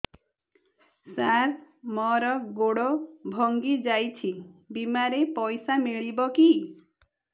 ସାର ମର ଗୋଡ ଭଙ୍ଗି ଯାଇ ଛି ବିମାରେ ପଇସା ମିଳିବ କି